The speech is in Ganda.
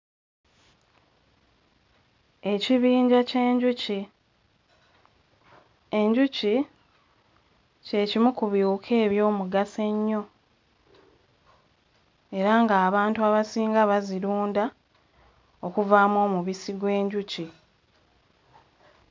Ekibinja ky'enjuki, enjuki kye kimu ku biwuka eby'omugaso ennyo, era ng'abantu abasinga bazirunda okuvaamu omubisi gw'enjuki.